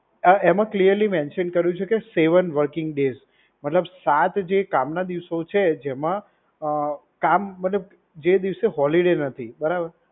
અ એમાં clearly mention કર્યું છે કે સેવન વર્કિંગ ડેસ. મતલબ સાત જે કામના દિવસો છે જેમાં અ કામ મતલબ જે દિવસે હોલિડેજ હતી, બરાબર?